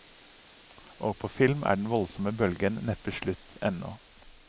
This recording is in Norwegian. Og på film er den voldsomme bølgen neppe slutt ennå.